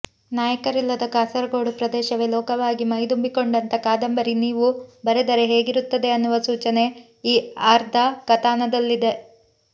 ನಾಯಕರಿಲ್ಲದ ಕಾಸರಗೋಡು ಪ್ರದೇಶವೇ ಲೋಕವಾಗಿ ಮೈದುಂಬಿಕೊಂಡಂಥ ಕಾದಂಬರಿ ನೀವು ಬರೆದರೆ ಹೇಗಿರುತ್ತದೆ ಅನ್ನುವ ಸೂಚನೆ ಈ ಆರ್ಧ ಕಥಾನಕದಲ್ಲಿದೆ